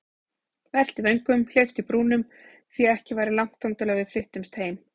Velti vöngum, hleypti brúnum, því ekki væri langt þangað til við flyttumst heim.